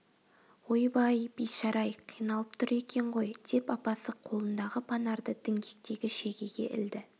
ойбай бейшара-ай қиналып тұр екен ғой деп апасы қолындағы панарды діңгектегі шегеге ілді